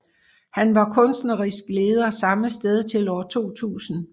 Han var kunstnerisk leder samme sted til år 2000